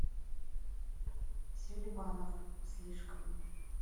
селиванов слишком